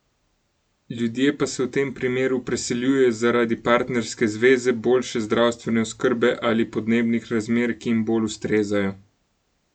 Ljudje se v tem primeru preseljujejo zaradi partnerske zveze, boljše zdravstvene oskrbe ali podnebnih razmer, ki jim bolj ustrezajo.